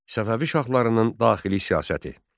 Səfəvi şahlarının daxili siyasəti.